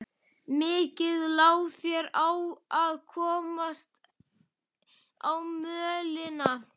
Mikið lá þér á að komast á mölina.